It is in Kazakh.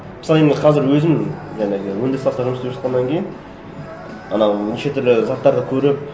мысалы енді қазір өзім жаңағы өндіріс саласында жұмыс істеп жатқаннан кейін анау неше түрлі заттарды көріп